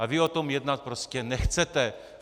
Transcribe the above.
Ale vy o tom jednat prostě nechcete.